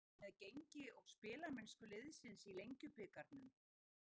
Ertu ánægður með gengi og spilamennsku liðsins í Lengjubikarnum?